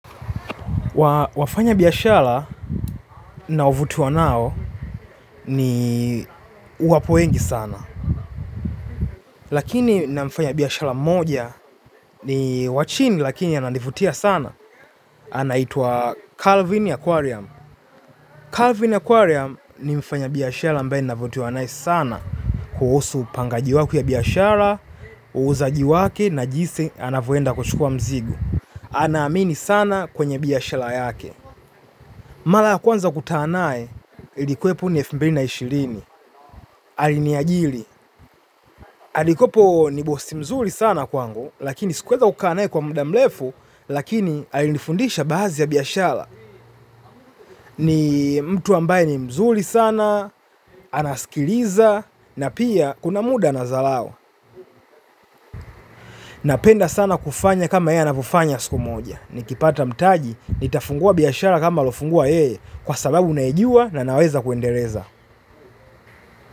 Wafanya biashala nao vutiwa nao ni wapo wengi sana. Lakini na mfanya biashara mmoja ni wachini lakini ananivutia sana. Anaitwa calvin yakuariam Calvin Aquarium ni mfanya biashara ambae navutiwa nae sana kuhusu upangaji wake wa biashara, uuzaji wake na jisi anavyoenda kuchukua mzigu. Anaamini sana kwenye biashala yake. Mala ya kwanza kutanaye, ilikuwe poni elfu mbili na ishirini, aliniajili. Alikopo ni bosi mzuri sana kwangu, lakini sikuweza kukaa naye kwa mdamlefu, lakini alinifundisha bahazi ya biashara. Ni mtu ambaye ni mzuri sana, anaskiliza, na pia kuna muda anadhalao. Napenda sana kufanya kama yeye anavyofanya siku moja. Nikipata mtaji, nitafungua biashara kama alofungua yeye, kwa sababu naijuwa na naweza kuendereza.